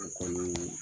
U kɔni